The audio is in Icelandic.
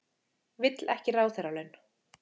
Vill ekki ráðherralaun